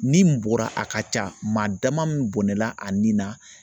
Ni min bɔra a ka ca maa dama min bɔnɛna a ni na